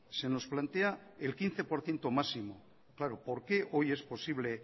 se nos plantea el quince por ciento máximo claro por qué hoy es posible